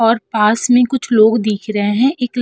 और पास मे कुछ लोग दिख रहे हैं। एक --